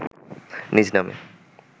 নিজ নামে